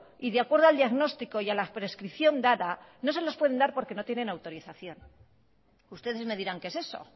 y de acuerdo al diagnóstico y a la prescripción dada no se los pueden dar porque no tienen autorización ustedes me dirán qué es eso